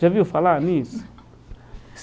Já viu falar nisso?